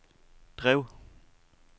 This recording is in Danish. drev